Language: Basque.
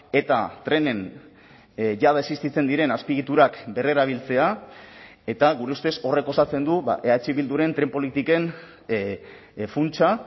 eta trenen jada existitzen diren azpiegiturak berrerabiltzea eta gure ustez horrek osatzen du eh bilduren tren politiken funtsa